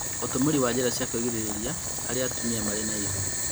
Ũtumĩri wa njĩra cia kũĩgirĩrĩria harĩ atumia marĩ na ihu